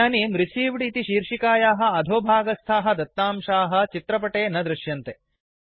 इदानीं रिसीव्ड इति शीर्षिकायाः अधोभागस्थाः दत्तांशाः चित्रपटे न दृश्यन्ते